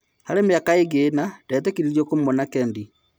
Harĩ mĩaka ingĩ-ĩna ndetĩkĩririo kũmuona Kedi.